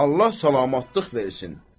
Allah salamatlıq versin.